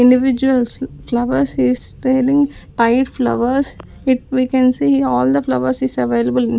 individuals flowers is tailing tied flowers it we can see all the flowers is available --